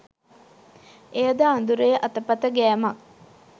එයද අඳුරේ අතපත ගෑමක්